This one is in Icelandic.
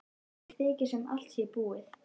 Mér þykir sem allt sé búið.